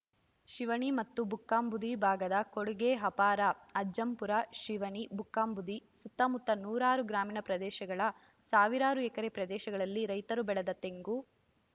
ಶಿವನಿ ಮತ್ತು ಬುಕ್ಕಾಂಬುದಿ ಭಾಗದ ಕೊಡುಗೆ ಅಪಾರ ಅಜ್ಜಂಪುರ ಶಿವನಿ ಬುಕ್ಕಾಂಬುದಿ ಸುತ್ತಮುತ್ತ ನೂರಾರು ಗ್ರಾಮೀಣ ಪ್ರದೇಶಗಳ ಸಾವಿರಾರು ಎಕರೆ ಪ್ರದೇಶಗಳಲ್ಲಿ ರೈತರು ಬೆಳೆದ ತೆಂಗು